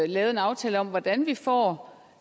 lavet en aftale om hvordan vi får